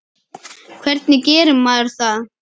Hvernig gerir maður það?